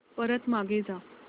परत मागे जा